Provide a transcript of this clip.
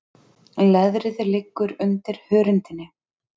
Leðrið liggur undir hörundinu.